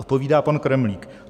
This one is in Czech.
Odpovídá pan Kremlík: